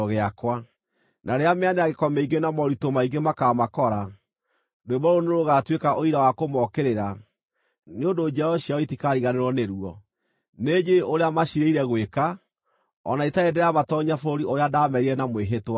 Na rĩrĩa mĩanangĩko mĩingĩ na moritũ maingĩ makaamakora, rwĩmbo rũrũ nĩrũgatuĩka ũira wa kũmookĩrĩra, nĩ ũndũ njiaro ciao itikariganĩrwo nĩruo. Nĩnjũũĩ ũrĩa maciirĩire gwĩka, o na itarĩ ndĩramatoonyia bũrũri ũrĩa ndaamerĩire na mwĩhĩtwa.”